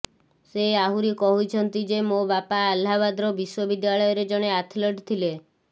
ସେ ଆହୁରି କହିଛନ୍ତି ଯେ ମୋ ବାପା ଆହ୍ଲାବାଦ ବିଶ୍ୱବିଦ୍ୟାଳୟରେ ଜଣେ ଆଥଲେଟ୍ ଥିଲେ